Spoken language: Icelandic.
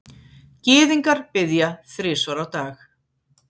Gyðingar biðja þrisvar á dag.